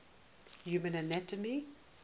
human anatomy